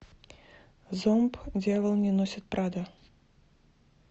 зомб дьявол не носит прада